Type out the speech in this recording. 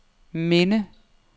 minde